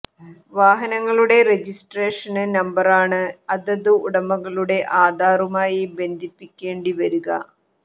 വാഹനങ്ങളുടെ രജിസ്ട്രേഷന് നമ്പറാണ് അതത് ഉടമകളുടെ ആധാറുമായി ബന്ധിപ്പിക്കേണ്ടി വരിക